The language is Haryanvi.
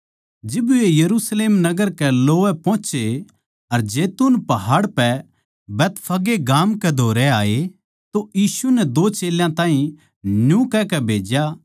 जिब वे यरुशलेम नगर कै लोवै पोहोचे अर जैतून पहाड़ पै बैतफगे गाम कै धोरै आये तो यीशु नै दो चेल्यां ताहीं न्यू कहकै भेज्या